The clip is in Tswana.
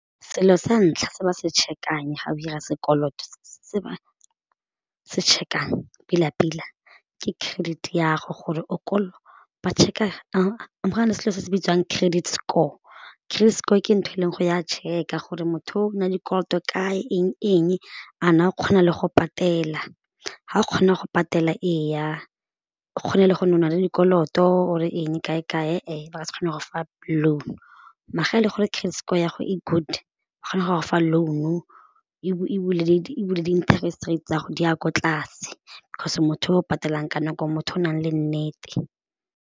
Selo sa ntlha se ba se check-ang ga o 'ira sekoloto se ba se check-ang ke credit ya'go gore o ba check-a go na le selo se se bitswang credit score, credit score ke ntho e leng go ya check-a gore motho o na dikoloto ka eng-eng a na kgona le go patela ha o kgona go patela eya o kgona le go le dikoloto or e eng kae-kae ba ka se kgona go fa loan, maar ga e le credit score ya'go e good ba kgona go go fa loan-u ebile di interest rate tsa go di a ko tlase 'cause o motho yo o patelang ka nako motho yo o nang le nnete.